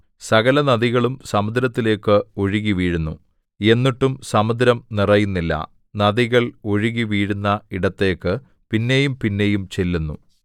സകലനദികളും സമുദ്രത്തിലേക്ക് ഒഴുകിവീഴുന്നു എന്നിട്ടും സമുദ്രം നിറയുന്നില്ല നദികൾ ഒഴുകിവീഴുന്ന ഇടത്തേക്ക് പിന്നെയും പിന്നെയും ചെല്ലുന്നു